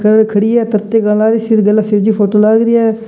लड़किया खड़ी है निरत्या कला है पीछे शिवजी की फोटो लागरी है।